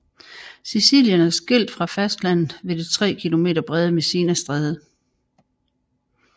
Sicilien er skilt fra fastlandet ved det tre kilometer brede Messinastræde